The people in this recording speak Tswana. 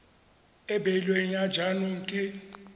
e beilweng ya jaanong ke